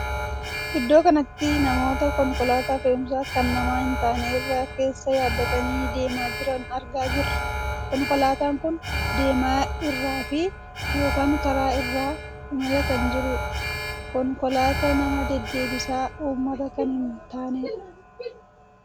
Iddoo kanatti namoota konkolaataa fe'umsa kan namaa hin taane irra keessa yaabbatanii deemaa jiran argaa jirraa. Konkolaataan kun deemaa irraa ykn karaa irra imalaa kan jirudha. konkolaataa nama deddeebisa uummataa kan hin taanedha.